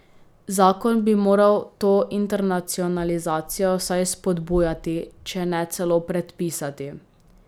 Zakon bi moral to internacionalizacijo vsaj spodbujati, če ne celo predpisati.